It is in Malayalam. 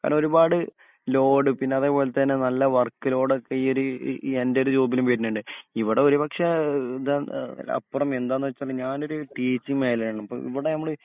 കാരണം ഒരുപാട് ലോഡ് പിന്നെ അതേപോലെ തന്നെ നല്ല വർക്ക് ലോഡ് ഒക്കെ ഈ ഒരു എൻ്റെ ഒരു ജോബിന് വരുന്നുണ്ട് ഇവിടെ ഒരു പക്ഷെ ഇത് അഹ് അപ്പുറം എന്താന്നുവെച്ചാൽ ഞാനൊരു ടീച്ചിങ് മേഖല ആണ് ആപ്പോ ഇവിടെ നമ്മൾ